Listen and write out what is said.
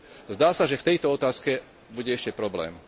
Zdá sa, že v tejto otázke bude ešte problém.